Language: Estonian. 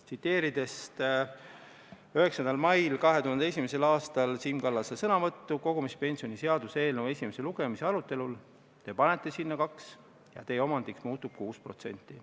Tsiteerin Siim Kallase sõnu, mis öeldud 9. mail 2001. aastal kogumispensioni seaduse eelnõu esimese lugemise arutelul: "Te panete sinna 2% ja teie omandiks muutub 6%.